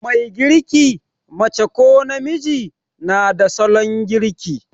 Mai girki, mace ko namiji, na da salon girki.